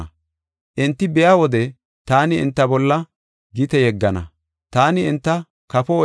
Enti biya wode taani enta bolla gite yeggana; taani enta kafo oykiyada oykana. Enta iita oosuwa gisho taani enta seerana.